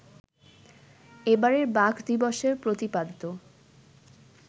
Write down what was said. এবারের বাঘ দিবসের প্রতিপাদ্য